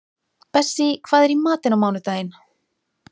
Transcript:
Bessí, hvað er í matinn á mánudaginn?